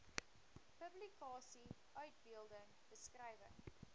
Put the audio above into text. publikasie uitbeelding beskrywing